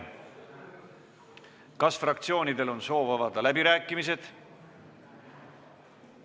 Kas fraktsioonidel on soov avada läbirääkimised?